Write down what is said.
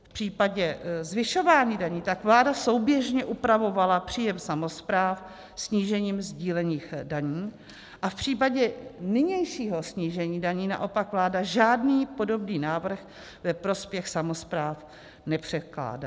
V případě zvyšování daní tak vláda souběžně upravovala příjem samospráv snížením sdílených daní a v případě nynějšího snížení daní naopak vláda žádný podobný návrh ve prospěch samospráv nepředkládá.